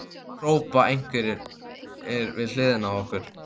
hrópa einhverjir við hliðina á okkur.